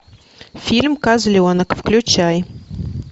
фильм козленок включай